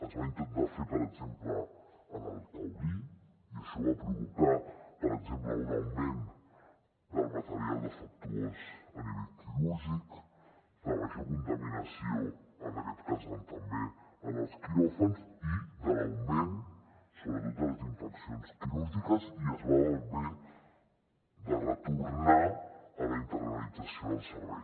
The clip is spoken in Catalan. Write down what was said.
es va intentar fer per exemple en el taulí i això va provocar per exemple un augment del material defectuós a nivell quirúrgic de major contaminació en aquest cas també en els quiròfans i l’augment sobretot de les infeccions quirúrgiques i es va haver de retornar a la internalització del servei